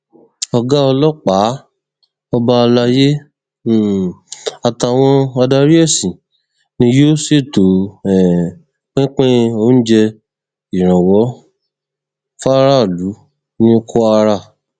ọgá ọlọpàá ọba alayé um àtàwọn adarí ẹsìn ni yóò ṣètò um pínpín oúnjẹ ìrànwọ fáráàlú ní kwara